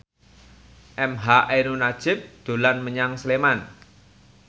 emha ainun nadjib dolan menyang Sleman